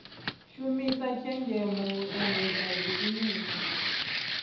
shumisa tshenzhemo u endedza zwiimiswa